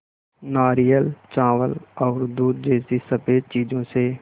नारियल चावल और दूध जैसी स़फेद चीज़ों से